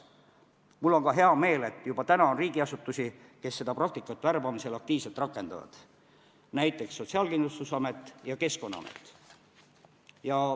Mul on hea meel, et juba praegu on riigiasutusi, kes seda praktikat värbamisel aktiivselt rakendavad, näiteks Sotsiaalkindlustusamet ja Keskkonnaamet.